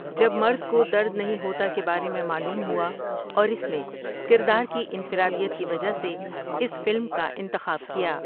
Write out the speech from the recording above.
جب مرد کو درد نہیں ہوتا کے بارے میں معلوم ہوا اور اس میں کردار کی انفرادیت کی وجہ سے اس فلم کا انتخاب کیا ۔